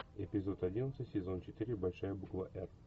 эпизод одиннадцать сезон четыре большая буква р